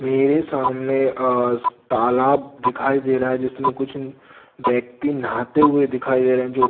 मेरे सामने आज तालाब दिखाई दे रहा है जिसमें कुछ व्यक्ति नहाते हुए दिखाई दे रहे जो--